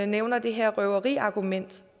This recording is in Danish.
nævner det her røveriargument